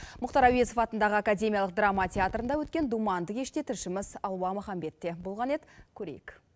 мұхтар әуезов атындағы академиялық драма театрында өткен думанды кеште тілшіміз алуа махамбет те болған еді көрейік